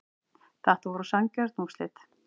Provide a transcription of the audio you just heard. Þetta voru sanngjörn úrslit